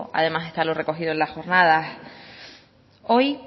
además está lo recogido en las jornadas hoy